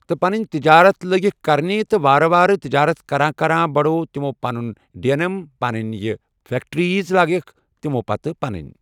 تہٕ پَنٕنۍ تجارت لٲگِکھ کَرنہِ تہٕ وارٕ وارٕ تجارت کَران کَران بڑووُکھ تِمو پَنٕنۍ ڈین امم پَنٕنۍ یہِ پَننٕۍ فٮ۪کٹِرٛیٖز لگایَکھ تِمو ییٚتہِ پَنٕنۍ۔